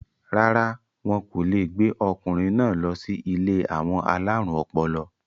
rárá, wọn kò le gbé ọkùnrin náà lọ sí ilé àwọn alárùn ọpọlọ